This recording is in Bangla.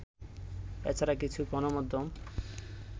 এ ছাড়া কিছু গণমাধ্যম